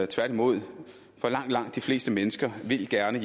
tværtimod for langt langt de fleste mennesker vil gerne